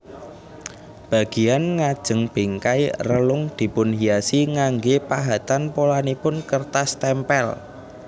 Bagian ngajeng bingkai relung dipunhiasi nganggé pahatan polanipun kertas témpél